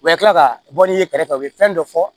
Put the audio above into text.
U bɛ kila ka bɔ n'i ye kɛrɛfɛ u bɛ fɛn dɔ fɔ